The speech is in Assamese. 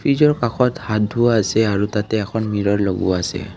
ফ্ৰিজৰ কাষত হাত ধোঁৱা আছে আৰু তাতে এখন মিৰৰ লগোৱা আছে।